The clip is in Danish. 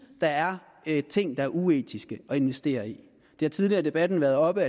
der er ting der er uetiske at investere i det har tidligere i debatten været oppe